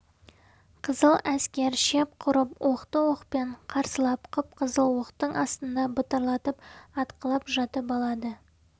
қызыл әскер шеп құрып оқты оқпен қарсылап қып-қызыл оқтың астында бытырлатып атқылап жатып алады